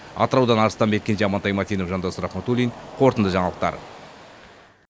атыраудан арыстанбек кенже амантай мәтенов жандос рахметуллин қорытынды жаңалықтар